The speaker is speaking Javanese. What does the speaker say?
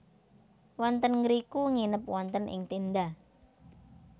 Wonten ngriku nginep wonten ing tenda